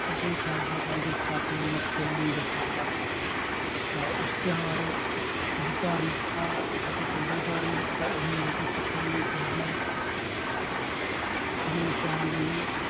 ਕਿਉਂਕਿ ਇਹ ਖਾਲਸਾ ਪੰਥ ਦੀ ਸਥਾਪਨਾ ਦੇ ਦਿਨਾਂ ਨੂੰ ਦਰਸਾਉਂਦਾ ਹੈ। ਇਸ ਤਿਉਹਾਰ ਦੀ ਧਾਰਮਿਕਤਾ ਅਤੇ ਸੱਭਿਆਚਾਰ ਮਹੱਤਤਾ ਇਹ ਹੈ ਕਿ ਸਿੱਖਾਂ ਦੀ ਇਸ ਦਿਨ ਦੀ ਨਿਸ਼ਾਨਦੇਹੀ